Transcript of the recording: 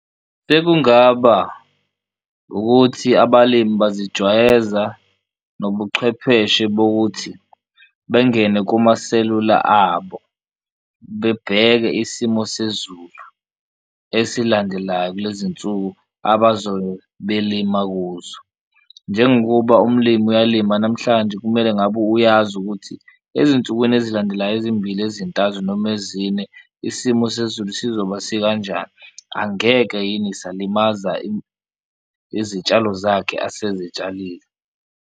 Bekungaba ukuthi abalimi bazijwayeza nobuchwepheshe bokuthi bengene kumaselula abo bebheke isimo sezulu esilandelayo kule zinsuku abazo belima kuzo, njengokuba umlimi uyalima namhlanje kumele ngabe uyazi ukuthi ezinsukwini ezilandelayo ezimbili ezintathu noma ezine isimo sezulu sizoba sikanjani. Angeke yini salimaza izitshalo zakhe asezitshalile.